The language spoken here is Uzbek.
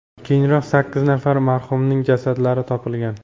Keyinroq sakkiz nafar marhumning jasadlari topilgan.